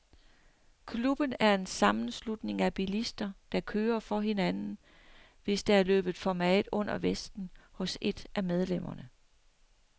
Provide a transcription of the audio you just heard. Klubben er en sammenslutning af bilister, der kører for hinanden, hvis der er løbet for meget under vesten hos et af medlemmerne.